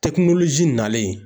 nalen